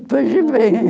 Depois de